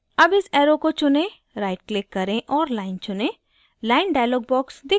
अब इस arrow को चुनें right click करें और line चुनें line dialog box दिखता है